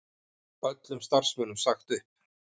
Öllum starfsmönnum sagt upp